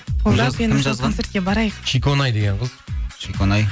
шиконай деген қыз шиконай